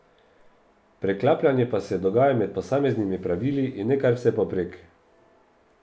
Preklapljanje pa se dogaja med posameznimi pravili in ne kar vsepovprek.